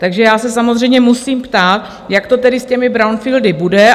Takže já se samozřejmě musím ptát, jak to tedy s těmi brownfieldy bude?